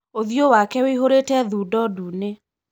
ũthiũ wake wĩihũire thundo ndune.